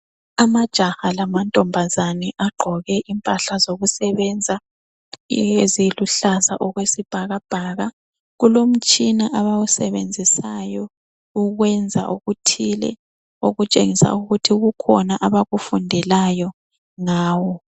Amajaha lamantombazane agqoke impahla zokusebenza eziluhlaza okwesibhakabhaka. Kulomtshina abawusebenzisayo ukwenza okuthile. Okutshengisa ukuthi kukhona abakufundelayo ngawo.